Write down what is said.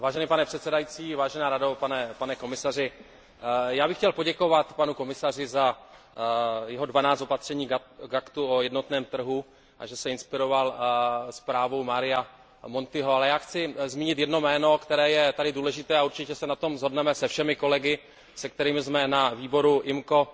Pane předsedající, já bych chtěl poděkovat panu komisaři za jeho dvanáct opatření k Aktu o jednotném trhu, a že se inspiroval zprávou Maria Montiho, ale já chci zmínit jedno jméno, které je tady důležité a určitě se na tom shodneme se všemi kolegy, se kterými jsme na výboru IMCO